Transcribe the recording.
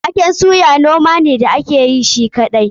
Waken suya noma ne da ake yi shi kaɗai.